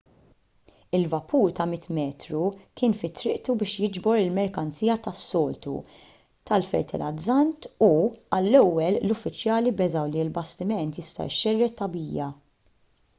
il-vapur ta' 100 metru kien fi triqtu biex jiġbor il-merkanzija tas-soltu tal-fertilizzant u għall-ewwel l-uffiċjali beżgħu li l-bastiment jista' jxerred tagħbija